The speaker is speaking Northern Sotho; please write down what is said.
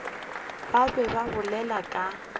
ba be ba bolela ka